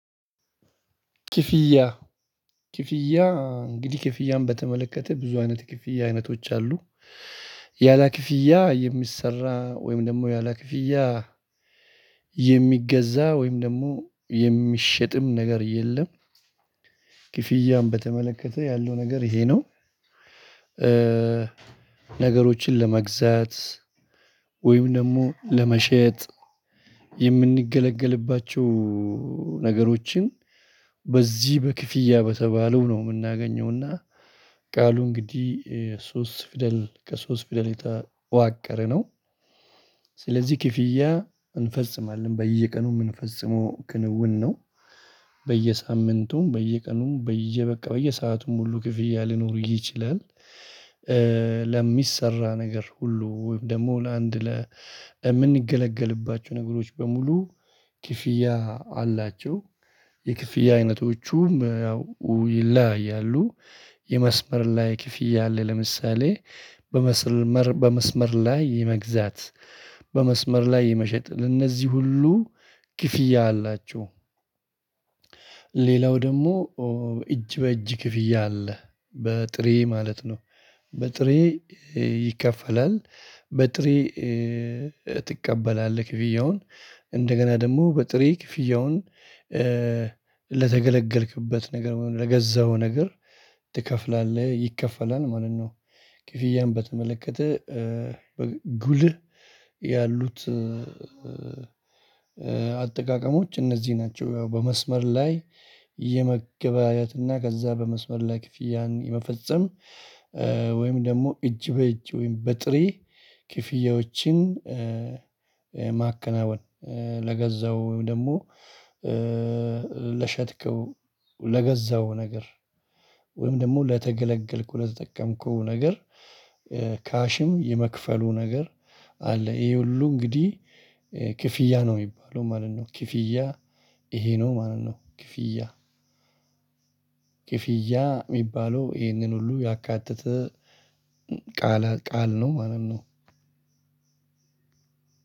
ክፍያ ክፍያ እንግዲህ ክፍያን በተመለከተ ብዙ አይነት ክፍያ አይነቶች አሉ። ያለ ክፍያ የሚሰራ ወይም ደግሞ ያለ ክፍያ የሚገዛ ወይም ደግሞ የሚሸጥም ነገር የለም። ክፍያውን በተመለከተ ያለው ነገር ይሄ ነው። ነገሮችን ለመግዛት ወይም ደግሞ ለመሸጥ የምንገለገልባቸው ነገሮችን በዚህ በክፍያ በተባለው ነው የምናገኘውና ቃሉ እንግዲህ ሶስት ፊደል ከሶስት ፊደል የተዋቀረ ነው። ስለዚህ ክፍያ እንፈጽማለን በየቀኑ ምን ፈጽሞ ክንውን ነው። በየሳምንቱም በየቀኑም በየበቃ በየሰአቱም ሁሉ ክፍያ ሊኖር ይችላል። ለሚሰራ ነገር ሁሉ ወይም ደግሞ ለአንድ ለምንገለገልባቸው ነገሮች በሙሉ ክፍያ አላቸው። የክፍያ አይነቶቹ ያው ይለያያሉ። የመስመር ላይ ክፍያ አለ። ለምሳሌ በመስመር በመስመር ላይ የመግዛት በመስመር ላይ የመሸጥ ለእነዚህ ሁሉ ክፍያ አላቸው። ሌላው ደግሞ እጅ በእጅ ክፍያ አለ። በጥሬ ማለት ነው። በጥሬ ይከፈላል በጥሬ ትቀበላለህ ክፍያውን እንደገና ደግሞ በጥሬ ክፍያውን ለተገለገልክበት ነገር ለገዛኸው ነገር ትከፍላለህ ይከፈላል ማለት ነው። ክፍያህን በተመለከተ ጉልህ ያሉት አጠቃቀሞች እነዚህ ናቸው። ያው በመስመር ላይ የመገበያየት እና ከዛ በመስመር ላይ ክፍያን የመፈጸም ወይም ደግሞ እጅ በእጅ ወይም በጥሬ ክፍያዎችን። ማከናወን ለገዛው ወይም ደግሞ ለሸጥከው ለገዛው ነገር ወይም ደግሞ ለተገለገልከው ለተጠቀምኩት ነገር ካሽም የመክፈሉ ነገር አለ ይሄ ሁሉ እንግዲህ ክፍያ ነው የሚባለው ማለት ነው። ክፍያ ይሄ ነው ማለት ነው። ክፍያ ክፍያ የሚባለው ይህንን ሁሉ ያካተተ ቃል ቃል ነው ማለት ነው።